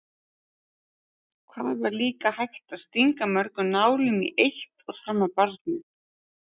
Hvað var líka hægt að stinga mörgum nálum í eitt og sama barnið?